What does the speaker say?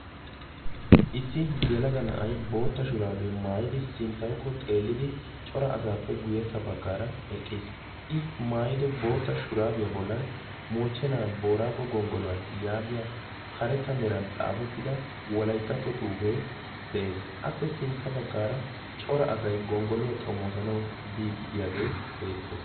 Issi yelaga na"ayi bootta shuraabiya maayidi sinttawukko xeellidi cora asaappe guyyessa baggaara eqqis. I maayido bootta shuraabiya bollan moochchena booraago gonggoluwa yaagiya karetta meran xaafettida wolayttatto xuufee de"es. Appe sintta baggaara cora asayi gonggoluwa xomoosanawu biiddi de"iyagee beettes.